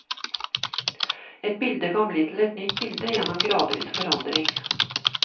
Et bilde kan bli til et nytt bilde gjennom en gradvis forandring.